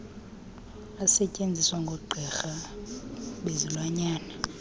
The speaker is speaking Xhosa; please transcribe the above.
asetyenziswa ngoogqirha bezilwanyana